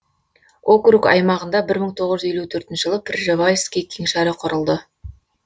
округ аймағында бір мың тоғыз жүз елу төртінші жылы пржевальский кеңшары құрылды